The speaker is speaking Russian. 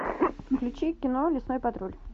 включи кино лесной патруль